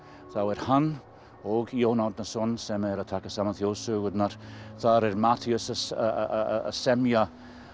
þá er hann og Jón Árnason sem eru að taka saman þjóðsögurnar þar er Matthías að semja